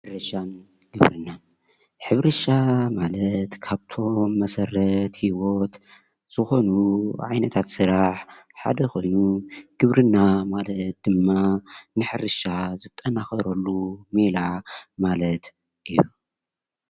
ሕርሻንግብርናን :ሕርሻ ማለት ካብቶም መሰረት ህይወት ዝኮኑ ዓይነታት ስራሕ ሓደ ኮይኑ ግብርና ማለት ድማ ንሕርሻ ዝጠናከረሉ ሜላ ማለት እዩ፡፡